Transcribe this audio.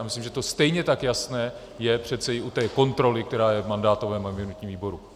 A myslím, že to stejně tak jasné je přeci u té kontroly, která je v mandátovém a imunitním výboru.